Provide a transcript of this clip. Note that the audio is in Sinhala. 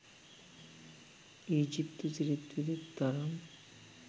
ඊජිප්තු සිරිත් විරිත් තරම්